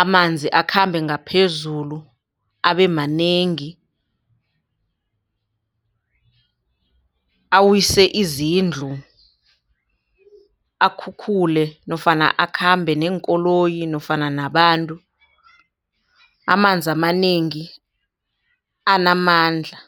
Amanzi akhambe ngaphezulu abe manengi awise izindlu, akhukhule nofana akhambe neenkoloyi nofana nabantu, amanzi amanengi anamandla.